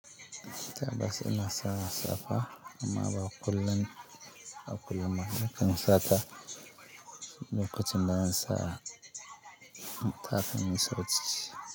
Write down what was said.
Tabbas ina sa safa amma ba kullun a kullum ba. Nakan sa ta lokacin da zan sa takalmin sau ciki.